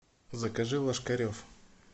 закажи ложкарев